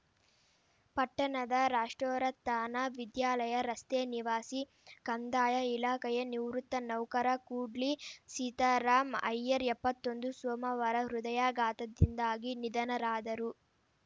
ಪಟ್ಟಣದ ರಾಷ್ಟ್ರೋರತ್ಥಾನ ವಿದ್ಯಾಲಯ ರಸ್ತೆ ನಿವಾಸಿ ಕಂದಾಯ ಇಲಾಖೆಯ ನಿವೃತ್ತ ನೌಕರ ಕೂಡ್ಲಿ ಸೀತಾರಾಮ್‌ ಐಯ್ಯರ್‌ ಎಪ್ಪತೊಂದು ಸೋಮವಾರ ಹೃದಯಾಘಾತದಿಂದಾಗಿ ನಿಧನರಾದರು